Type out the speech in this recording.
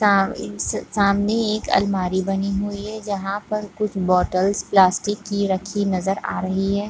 सा सामने एक अलमारी बनी हुई है जहाँ पर कुछ बोतलस प्लास्टिक की रखी नजर आ रही है।